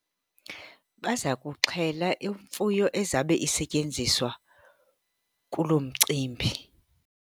Baza kuxhela imfuyo ezabe isetyenziswa kuloo mcimbi.